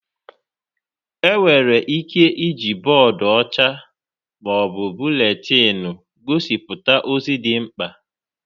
Enwere ike iji bọọdụ ọcha ma ọ bụ buletiinu gosipụta ozi dị mkpa.